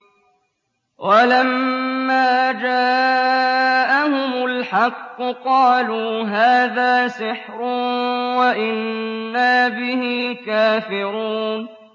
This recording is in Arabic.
وَلَمَّا جَاءَهُمُ الْحَقُّ قَالُوا هَٰذَا سِحْرٌ وَإِنَّا بِهِ كَافِرُونَ